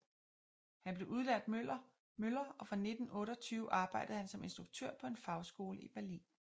Han blev udlært møller og fra 1928 arbejdede han som instruktør på en fagskole i Berlin